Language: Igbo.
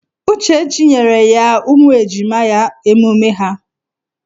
Uchechi nyere ya ụmụ ejima ya emume ha.